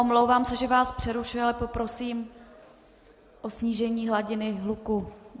Omlouvám se, že vás přerušuji, ale poprosím o snížení hladiny hluku.